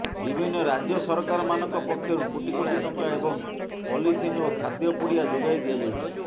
ବିଭିନ୍ନ ରାଜ୍ୟ ସରକାରମାନଙ୍କ ପକ୍ଷରୁ କୋଟି କୋଟି ଟଙ୍କା ଏବଂ ପଲିଥିନ୍ ଓ ଖାଦ୍ୟ ପୁଡ଼ିଆ ଯୋଗାଇ ଦିଆଯାଉଛି